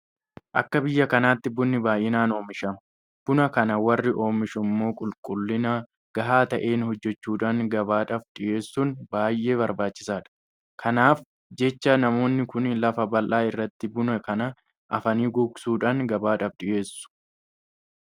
Akka biyya kanaatti Bunni baay'inaan oomishama. Buna kana warri oomishu immoo qulqullina gahaa ta'een hojjechuudhaan gabaadhaaf dhiyeessuun baay'ee barbaachisaadha. Kanaaf jecha namoonni kun lafa bal'aa irratti buna kana afanii gogsuudhaan gabaadhaaf dhiyeessu.